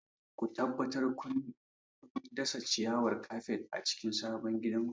Ku tabbatar cewa kun dasa ciyawar kafet a cikin sabon gidanku.